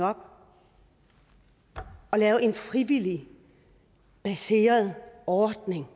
op og lavede en frivillig ordning